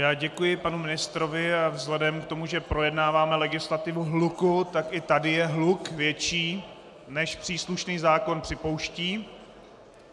Já děkuji panu ministrovi, a vzhledem k tomu, že projednáváme legislativu hluku, tak i tady je hluk větší, než příslušný zákon připouští.